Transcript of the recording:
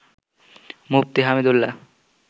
Mufti Hamidullah